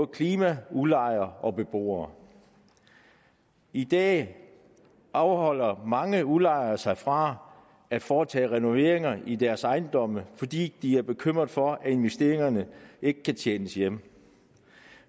klima udlejere og beboere i dag afholder mange udlejere sig fra at foretage renoveringer i deres ejendomme fordi de er bekymrede for at investeringerne ikke kan tjenes hjem